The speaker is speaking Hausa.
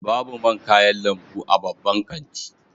Babu man kayan lambu a babban kanti